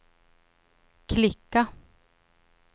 klicka